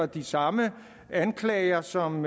de samme anklager som